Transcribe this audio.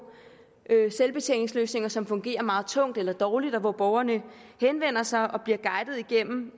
selvbetjeningsløsninger som fungerer meget tungt eller dårligt og hvor borgerne henvender sig og bliver guidet igennem